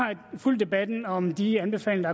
fulgt debatten om de anbefalinger